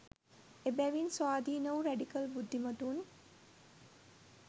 එබැවින් ස්වාධීන වූ රැඩිකල් බුද්ධිමතුන්